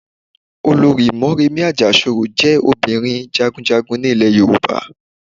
Olorì Móremí Àjàsorò jẹ́ ọmọbìnrin Jagunjagun ni ilè Yorùbá